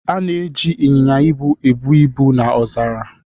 A na-eji inyinya ibu ebu ibu na ọzara.